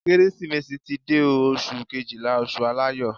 Kérésìmesì ti dé o. Oṣù Kejìlá, oṣù aláyọ̀.